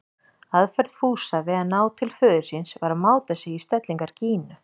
Aðferð Fúsa við að ná til föður síns var að máta sig í stellingar Gínu.